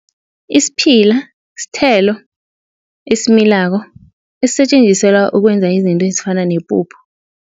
Isiphila sithelo esimilako esisetjenziselwa ukwenza izinto ezifana nepuphu.